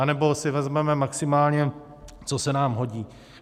Anebo si vezmeme maximálně, co se nám hodí.